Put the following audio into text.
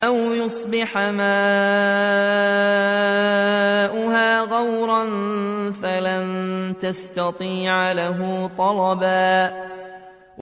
أَوْ يُصْبِحَ مَاؤُهَا غَوْرًا فَلَن تَسْتَطِيعَ لَهُ طَلَبًا